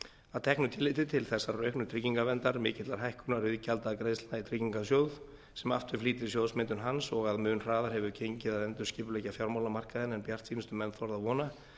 að teknu tilliti til þessarar auknu tryggingaverndar mikillar hækkunar iðgjaldagreiðslna í tryggingarsjóð sem aftur flýtir sjóðsmyndun hans og að mun hraðar hefur gengið að endurskipuleggja fjármálamarkaðinn en bjartsýnustu menn þorðu að vona